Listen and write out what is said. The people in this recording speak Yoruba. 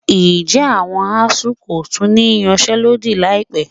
Ǹjẹ́ àwọn ASUU kò tún ní yanṣẹ́lódì láìpẹ́?